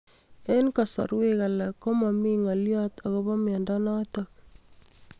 Eng'kasarwek alak ko mami ng'alyo akopo miondo notok